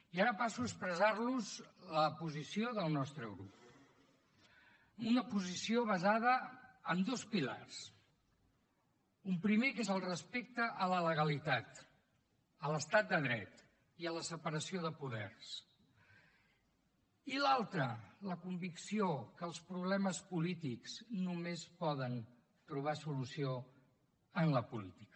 i ara passo a expressar los la posició del nostre grup una posició basada en dos pilars un primer que és el respecte a la legalitat a l’estat de dret i a la separació de poders i l’altre la convicció que els problemes polítics només poden trobar solució en la política